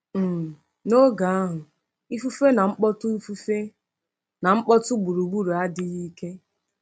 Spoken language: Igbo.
um N’oge ahụ, ifufe na mkpọtụ ifufe na mkpọtụ gburugburu adịghị ike.